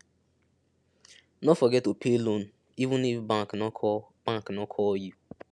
no forget to pay loan even if bank no call bank no call you